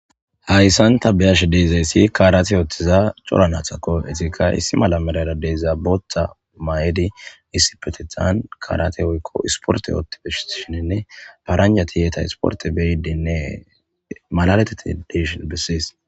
hayssan ta beyashe deezayssi kaarate yoothtiza cora naathakko etika issi mala melara deeza botha mayedi issi petethan karate woykko isporte oottibesshiinne faranja ti yeeta isporte beydinne malaletetti deshin bessees